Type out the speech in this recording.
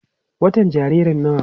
watan jaririn nawa?